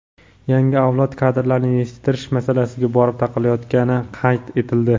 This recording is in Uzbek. yangi avlod kadrlarini yetishtirish masalasiga borib taqalayotgani qayd etildi.